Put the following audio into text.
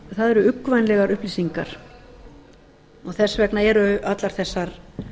það eru uggvænlegar upplýsingar og þess vegna eru allar þessar